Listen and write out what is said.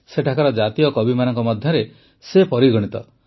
ସେଠାକାର ଜାତୀୟ କବିମାନଙ୍କ ମଧ୍ୟରେ ମଧ୍ୟ ସେ ପରିଗଣିତ